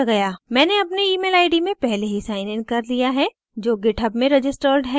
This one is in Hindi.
मैंने अपनी emailid में पहले ही साइनइन कर लिया है जो github में registered है